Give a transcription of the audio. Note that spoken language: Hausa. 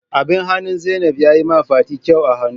Abin hannun Zainab ya yi ma fati kyau a hannu.